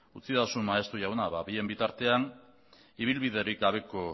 utzidazu maeztu jauna bien bitartean ibilbiderik gabeko